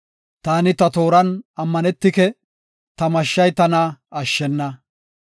Taani ta tooran ammanetike; ta mashshay tana ashshena.